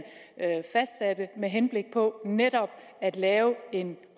fastsatte med henblik på netop at lave en